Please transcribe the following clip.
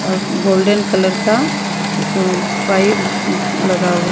और golden colour का उप पाई लगा हुआ --